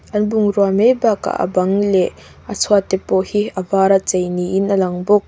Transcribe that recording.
an bungrua mai bakah a bang leh a chhuat te pawh hi a var a chei niin alang bawk.